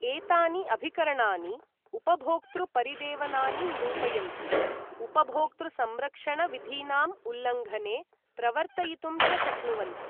एतानि अभिकरणानि उपभोक्तृ परिदेवनानि निरूपयन्ति, उपभोक्तृ संरक्षण विधीनाम् उल्लङ्घने प्रवर्तयितुं च शक्नुवन्ति।